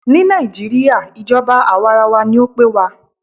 Ní nàìjíría, ìjọba àwàrawa ní o pé wa.